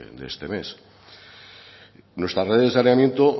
de este mes nuestra red de saneamiento